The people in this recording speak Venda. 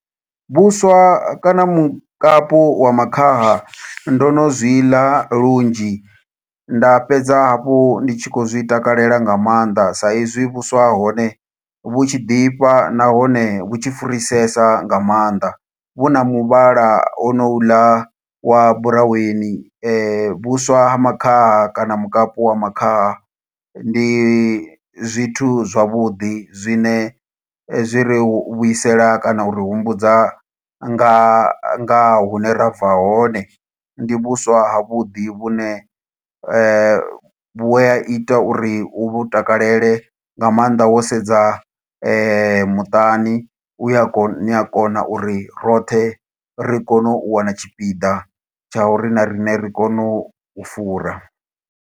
Vhuswa kana mukapu wa makhaha, ndo no zwi ḽa lunzhi. Nda fhedza hafhu ndi tshi khou zwi takalela nga maanḓa, sa izwi vhuswa ha hone vhu tshi ḓifha, nahone vhu tshi furisesa nga maanḓa. Vhu na muvhala ono u ḽa wa buraweni, vhuswa ha makhaha kana mukapu wa makhaha, ndi zwithu zwavhuḓi zwine zwi ri vhuisela kana u ri humbudza nga nga hune ra bva hone. Ndi vhuswa ha vhuḓi vhune vhu a ita uri u vhu takalele, nga maanḓa wo sedza muṱani. U a ko, ni a kona uri roṱhe, ri kone u wana tshipida, tsha uri na riṋe ri kone u u fura.